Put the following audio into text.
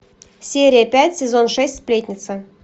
серия пять сезон шесть сплетница